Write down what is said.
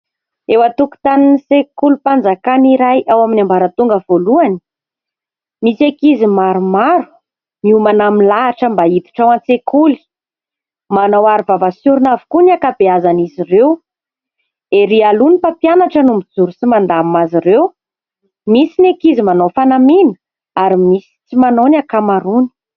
Eo an-tokontanin'ny sekolim-panjakana iray ao amin'ny ambaratonga voalohany, misy ankizy maromaro miomana milahatra mba hiditra ao an-tsekoly. Manao aro vava sy orona avokoa ny ankabeazan'izy ireo. Ery aloha ny mpampianatra no mijoro sy mandamina azy ireo. Misy ny ankizy manao fanamiana ary misy tsy manao ny ankamaroany.